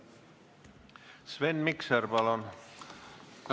Sven Mikser, palun!